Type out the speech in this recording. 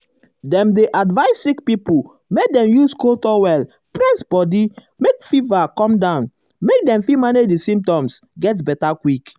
dem um dey advise sick pipo make dem use cold towel press body make fever come down make dem fit manage di symptoms get beta quick.